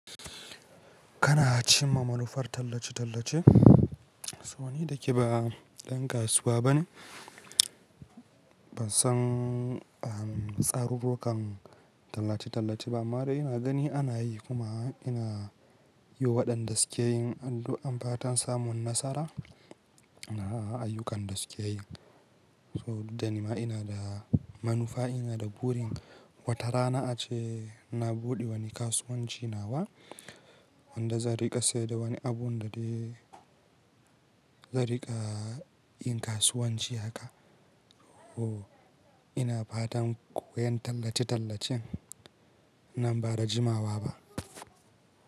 Kana cimma manufar tallace-tallace? So ni da ke ba ɗan kasuwa bane. Ban san tsarurrukan tallace-tallace ba amma dai ina gani ana yi kuma ina yi waɗanda suke yin addu'an fatan samun nasara a ayyukan da suke yi. So da ni ma ina da manufa, ina da burin watarana ace na buɗe wani kasuwanci nawa wanda zan riƙa sayar da wani abu da dai zan riƙa yin kasuwanci haka. Oh, ina fatan koyon tallace-tallacen nan ba da jimawa ba.